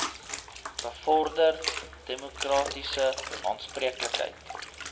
bevorder demokratiese aanspreeklikheid